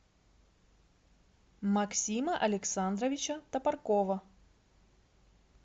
максима александровича топоркова